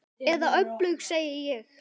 Eða öfugt, segi ég.